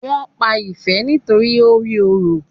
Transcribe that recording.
Wón pá Ìfẹ nitoripe o rí òrò